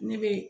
Ne be